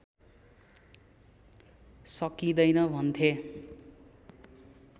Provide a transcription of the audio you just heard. सकिँदैन भन्थे